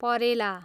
परेला